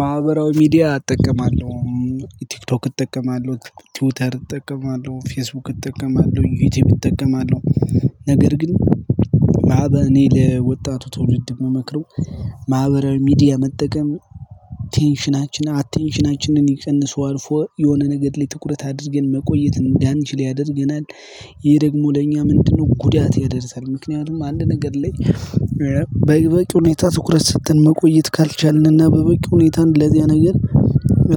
ማህበራዊ ሚዲያ እጠቀማለሁ ቲክቶክ እጠቀማለሁ ትዊተር እጠቀማለሁ ፌስቡክ እጠቀማለሁኝ ዩትዩብ እጠቀማለሁ። ነገር ግን ማህበ እኔ ለወጣቱ ትውልድ የምመክረው ማህበረ ሚዲያ መጠቀም ቴንሽናችን አቴንሽናችንን ይቀንሰው አልፎ የሆነ ነገድ ላይ ትኩረት አድርገን መቆየት እንዳንችል ያደርገናል። ይሄ ደግሞ ለእኛ ምንድነው ጉዳት ያደርሳል? ምክንያቱም አንድ ነገር ላይ በቂ ሁኔታ ትኩረት ስትል መቆየት ካልቻልንና በበቂ ሁኔታን ለዚያ ነገር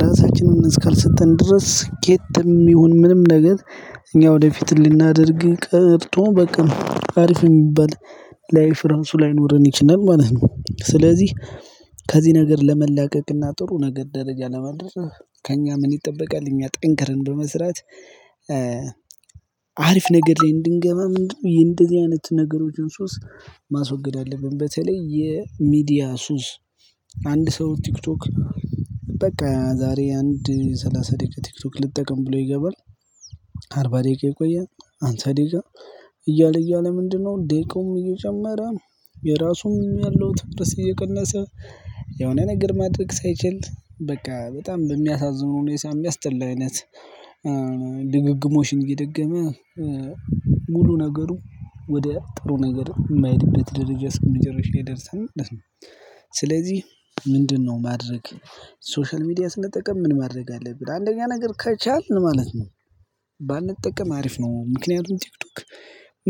ራሳችንን እስካልሰጥን ድረስ ከየትም ይሁን ምንም ነገር እኛ ወደፊት ልናደርግ ቀርቶ በቃ አሪፍ የሚባል። ላይፍ እራሱ ላይኖረን ይችላል ማለት ነው። ስለዚህ ከዚህ ነገር ለመላቀቅና ጥሩ ነገር ደረጃ ለመድረስ ከእኛ ምን ይጠበቃል? እኛ ጠንክረን በመስራት አሪፍ ነገድ ላይ እንድንገባ ነው እንጂ እንደዚህ አይነት ነገሮችን ሱስ ማስወገድ አለብን። በተለይ የሚዲያ ሱስ አንድ ሰው ቲክቶክ በቃ ዛሬ አንድ ሰላሳ ደቂቃ ቲክቶክ ልጠቅም ብሎ ይገባል። አርባ ደቂቃ ይቆያል አምሳ ደቂቃ እያለ እያለ ምንድነው ደቂቃውም እየጀመረ የራሱም ያለው ትኩረት እየቀነሰ። የሆነ ነገር ማድረግ ሳይችል በቃ በጣም በሚያሳዝን ሁኔታ የሚያስጠላ አይነት ድግግሞሽን እየደገመ ሙሉ ነገሩ ወደ ጥሩ ነገር የማይሄድበት ደረጃ ስም መጨረሻ ይደረርሳል ማለት ነው። ስለዚህ ምንድነው ማድረግ? ሶሻል ሚዲያ ስንጠቀም ምን ማድረግ አለብን አንደኛ ነገር ከቻልን ማለት ነው። ባንጠቀም አሪፍ ነው ምክንያቱም ቲክቶክ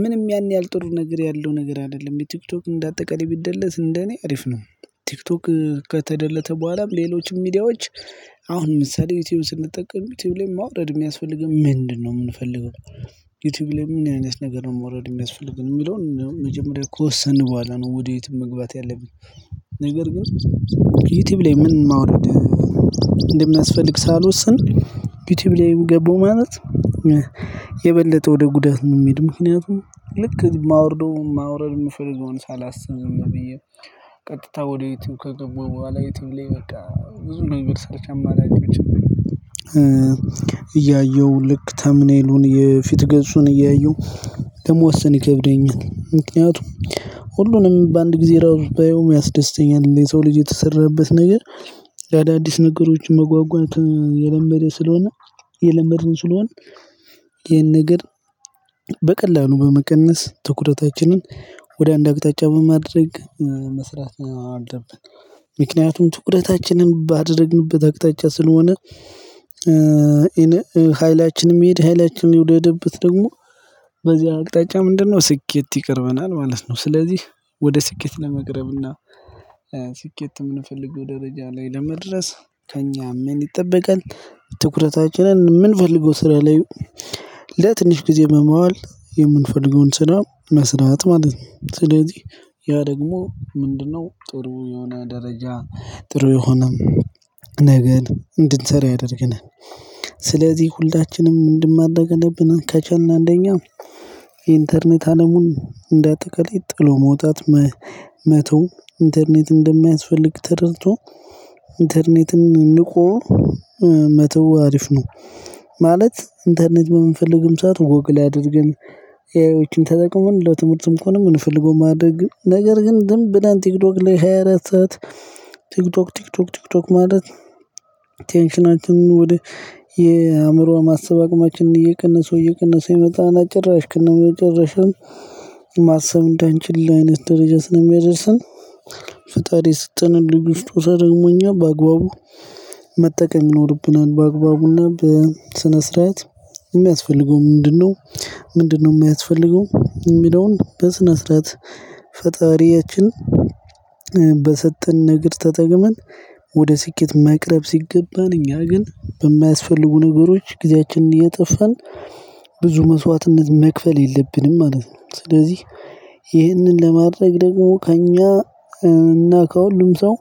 ምንም ያን ያህል ጥሩ ነገር ያለው ነገር አይደለም ቲክቶክ እንደ አጠቃላይ ቢደለት እንደኔ አሪፍ ነው። ቲክቶክ ከተደለተ በኋላም ሌሎችም ሚዲያዎች አሁን ለምሳሌ ዩቲዩብ ስንጠቀም ዩቲዩብ ላይ ማውረድ የሚያስፈልገን ምንድነው የምንፈልገው? ዩቲዩብ ላይ ምን አይነት ነገር ነው ማውረድ የሚያስፈልገን የሚለውን መጀመሪያ ከወሰንን በኋላ ነው ወደ ዩትዩብ መግባት ያለብን። ነገር ግን ዩቲዩብ ላይ ምን ማውረድ? እንደሚያስፈልግ ሳልወስን ዩቲዩብ ላይም ገባሁ ማለት። የበለጠ ወደ ጉዳት ነው የምሄድ ምክንያቱም ልክ የማወርደው የማወርደው የምፈልገውን ሳላስብ ነው ብዬ ቀጥታ ወዴትም ከገባው በኋላ የትም ላይ በቃ ብዙ ነገር ሰርቻለሁ። የማላውቀው እያየሁ ልክ ተምኔሉን የፊት ገጹን እያየሁ ለመወሰን ይከብደኛል። ምክንያቱም ሁሉንም በአንድ ጊዜ ራሱ ባያውም ያስደስተኛል የሰው ልጅ የተሰራበት ነገር። ለአዳዲስ ነገሮች መጓጓት የለመደ ስለሆነ የለመድን ስለሆነ ይሄን ነገር በቀላሉ በመቀነስ ትኩረታችንን ወደ አንድ አቅጣጫ በማድረግ መስራት ነው አለብን። ምክንያቱም ትኩረታችንን ባደረግንበት አቅጣጫ ስለሆነ ኃይላችንም ኃይላችንን የሚሄድ ኃይላችንን የወደደበት ደግሞ በዚህ አቅጣጫ ምንድነው ስኬት ይቀርበናል ማለት ነው። ስለዚህ ወደ ስኬት ለመቅረብ እና ስኬት የምንፈልገው ደረጃ ላይ ለመድረስ ከእኛ ምን ይጠበቃል? ትኩረታችንን ምንፈልለው ስራ ላይ ለትንሽ ጊዜ መማር የምንፈልገውን ስራ መስራት ማለት ነው። ስለዚህ ያ ደግሞ ምንድነው ጥሩ የሆነ ደረጃ ጥሩ የሆነም ነገር እንድንሰራ ያደርገናል። ስለዚህ ሁላችንም ምንድን ማድረግ አለብን? ከቻልን አንደኛ ኢንተርኔት አለሙን እንደ ጥቅል ጥሎ መውጣት መተው ኢንተርኔት እንደማያስፈልግ ተረድቶ ነ ኢንተርኔትን ንቆ መተው ሀሪፍ ነው። ማለት ኢንተርኔት በምንፈልግም ሰዓት ጐግልአድርገን ኤአይዎችን ተጠቅመን ለትምህርትም ከሆነ የምንፈልገው ማድረግ ነው። ነገር ግን ደግሞ ብለን ቲክቶክ ላይ ሃያ አራት ሰዓት ቲክቶክ ቲክቶክ ቲክቶክ ማለት ቴንሽናችንን ወደ የአእምሮውን ማሰብ አቅማችን እየቀነሰው እየቀነሰው የመጣና ጭራሽ ከነ መጨረሻም ማሰብ እንዳንችል ላይ አይነት ደረጃ ስለሚያደርስን። ፈጣሪ የሰጠንን ልዩ ስጦታ ደግሞ እኛ በአግባቡ መጠቀም ይኖሮብናል። በአግባቡና በስነ ስርዓት የሚያስፈልገው ምንድነው? ምንድነው የሚያስፈልገው የሚለውን በስነ ስርዓት። ፈጣሪያችን በሰጠን ነገር ተጠቅመን ወደ ስኬት መቅረብ ሲገባን እኛ ግን በማያስፈልጉ ነገሮች ጊዜያችንን እያጠፋን ብዙ መስዋዕትነት መክፈል የለብንም ማለት ነው። ስለዚህ ይህንን ለማድረግ ደግሞ ከእኛ እና ከሁሉም ሰው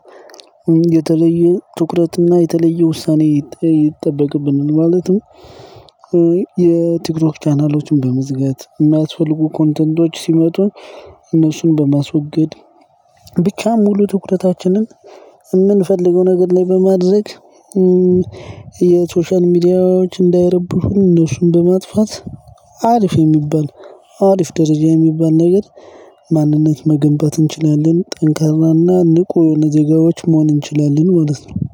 የተለየ ትኩረትና የተለየ ውሳኔ ይጠበቅብናል ማለት ነው። የቲክቶክ ቻናሎችን በመዝጋት የሚያስፈልጉ ኮንተንቶች ሲመጡ እነሱን በማስወገድ ብቻ ሙሉ ትኩረታችንን የምንፈልገው ነገር ላይ በማድረግ የሶሻል ሚዲያዎች እንዳይረብሹን እነሱን በማጥፋት ሀሪፍ የሚባል ሀሪፍ ደረጃ የሚባል ነገር ማንነት መገንባት እንችላለን። ጠንካራና ንቁ የሆነ ዜጋዎች መሆን እንችላለን ማለት ነው።